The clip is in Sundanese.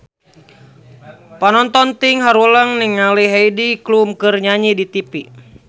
Panonton ting haruleng ningali Heidi Klum keur nyanyi di tipi